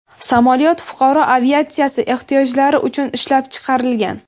Samolyot fuqaro aviatsiyasi ehtiyojlari uchun ishlab chiqarilgan.